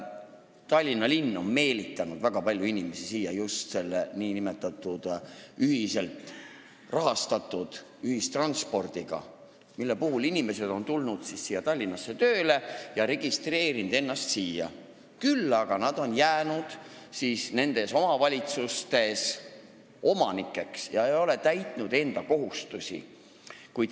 Tallinna linn on meelitanud väga palju inimesi siia just selle nn ühiselt rahastatud ühistranspordiga, mille tõttu inimesed, kes on tulnud Tallinnasse tööle, on registreerinud ennast siia sisse, küll aga on nad jäänud nendes teistes omavalitsustes omanikeks ega ole täitnud enda kohustusi.